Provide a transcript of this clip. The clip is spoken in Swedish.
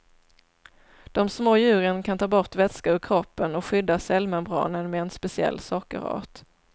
De små djuren kan ta bort vätska ur kroppen och skydda cellmembranen med en speciell sockerart.